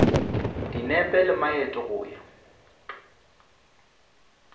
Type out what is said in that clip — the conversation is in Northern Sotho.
dinepe le maeto go ya